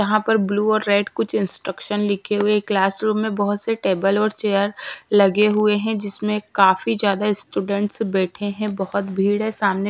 जहाँ पर ब्लू और रेड कुछ इंस्ट्रक्शन लिखे हुए क्लासरूम में बहोत से टेबल और चेयर लगे हुए हैं जिसमें काफी ज्यादा स्टूडेंट्स बैठे हैं बहोत भीड़ है सामने--